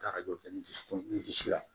Taara o kɛ n dusukun disi la